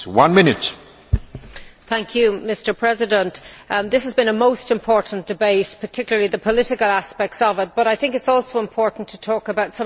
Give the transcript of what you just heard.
Mr President, this has been a most important debate particularly the political aspects of it but I think it is also important to talk about some of the practical parts of the debate.